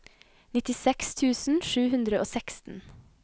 nittiseks tusen sju hundre og seksten